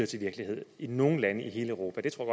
til virkelighed i nogen lande i hele europa det tror